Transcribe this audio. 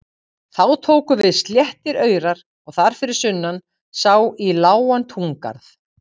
Þá tóku við sléttir aurar og þar fyrir sunnan sá í lágan túngarð.